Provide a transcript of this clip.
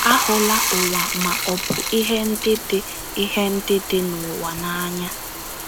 Ahụla ụwa ma ọ bụ ihe ndị dị ihe ndị dị n’ụwa n’anya.